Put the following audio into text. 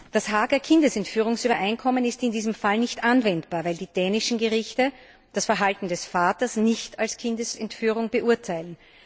Das Haager Kindesentführungsübereinkommen ist in diesem Fall nicht anwendbar, weil die dänischen Gerichte das Verhalten des Vaters nicht als Kindesentführung beurteilen.